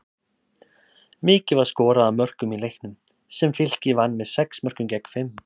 Mikið var skorað af mörkum í leiknum, sem Fylkir vann með sex mörkum gegn fimm.